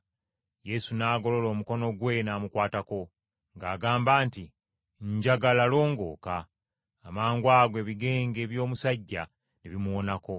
Yesu n’agolola omukono gwe n’amukwatako, ng’agamba nti, “Njagala, longooka.” Amangwago ebigenge by’omusajja ne bimuwonako.